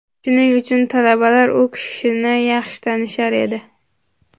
Shuning uchun talabalar u kishini yaxshi tanishar edi.